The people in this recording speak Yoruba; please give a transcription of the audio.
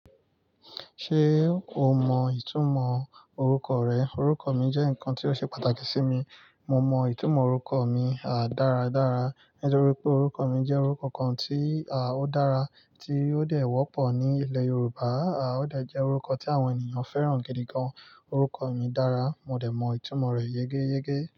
Ṣé o mọ ìtumọ̀ orúkọ rẹ? Orúkọ mi jẹ́ nǹkan tí ó ṣe pàtàkì sí mi. Mo mọ ìtumọ̀ orúkọ mi, dáradára nítorí pé orúkọ mi jẹ́ orúkọ kan tí, ó dára, tí ó dẹ̀ wọ́pọ̀ ní ilẹ̀ Yorùbá, ó dẹ̀ jẹ́ orúkọ tí àwọn ènìyàn fẹ́ràn gidi gan. Orúkọ mi dára, mo dẹ̀ mọ ìtumọ̀ rẹ̀ yegeyege.